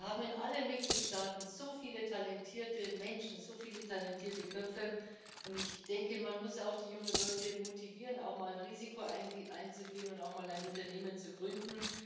Wir haben in allen Mitgliedstaaten so viele talentierte Menschen, so viele talentierte Köpfe, und ich denke, man muss die jungen Leute motivieren, auch mal ein Risiko einzugehen, mal ein Unternehmen zu gründen.